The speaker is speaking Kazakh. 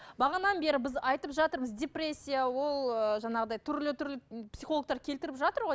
бағанадан бері біз айтып жатырмыз депрессия ол ы жаңағыдай түрлі түрлі психологтар келтіріп жатыр ғой